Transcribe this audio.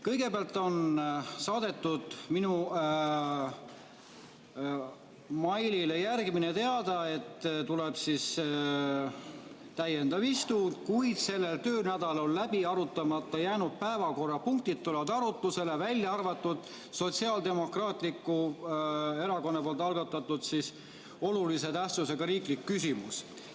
Kõigepealt on saadetud minu meilile järgimine teade, et tuleb täiendav istung, kuid sellel töönädalal läbi arutamata jäänud päevakorrapunktid tulevad arutusele, välja arvatud Sotsiaaldemokraatliku Erakonna algatatud olulise tähtsusega riiklik küsimus.